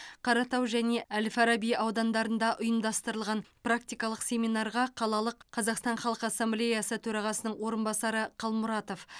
қаратау және әл фараби аудандарында ұйымдастырылған практикалық семинарға қалалық қазақстан халқы ассамблеясы төрағасының орынбасары қалмұратов